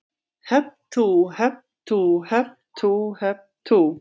Hep tú, hep tú, hep tú, hep tú.